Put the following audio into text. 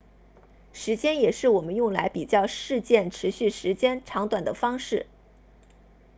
时间也是我们用来比较事件持续时间长度的方式